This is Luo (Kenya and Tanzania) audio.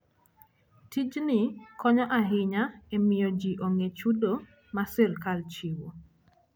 Tijni konyo ahinya e miyo ji ong'e chudo ma sirkal chiwo.